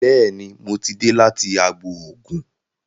Béèni mọ tí dé láti àgbò oògùn.